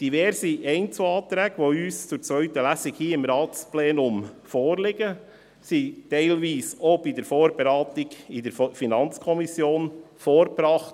Diverse Einzelanträge, die uns zur zweiten Lesung hier im Ratsplenum vorliegen, wurden teilweise auch bei der Vorberatung in der FiKo vorgebracht.